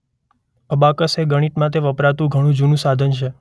Abacus એ ગણિત માટે વપરાતું ઘણું જૂનું સાધન છે.